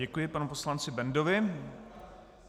Děkuji panu poslanci Bendovi.